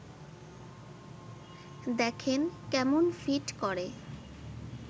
দেখেন, কেমন ফিট করে